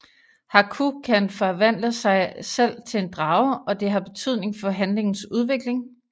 Haku kan forvandle sig selv til en drage og det har betydning for handlingens udvikling